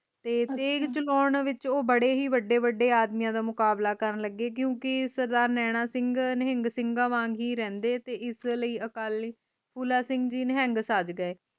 ਤੇ ਤੇਗ ਚਕੋਨ ਵਿਚ ਉਹ ਬੜੇ ਹੀ ਵਡੇ ਵਡੇ ਆਦਮੀਆਂ ਦਾ ਮੁਕਾਬਲਾ ਕਰਨ ਲਗੇ ਕਿਉਕਿ ਸਰਦਾਰ ਨੈਣਾ ਸਿੰਘ ਨਿਹੰਗ ਸਿੰਘਾਂ ਵਾਂਗ ਹੀ ਰਹਿੰਦੇ ਤੇ ਇਸਲਯੀ ਅਕਾਲੀ ਫੂਲਾ ਸਿੰਘ ਜੀ ਨਿਹੰਗ ਸੱਜ ਗਏ